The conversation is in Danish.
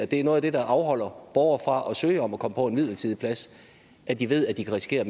det er noget af det der afholder borgere fra at søge om at komme på en midlertidig plads at de ved at de kan risikere